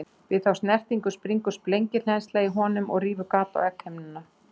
Við þá snertingu springur sprengihleðsla í honum og rýfur gat á egghimnuna.